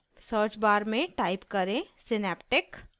search bar में type करें synaptic